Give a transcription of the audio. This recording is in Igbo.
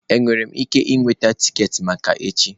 Enwere m ike iweta tiketi maka echi?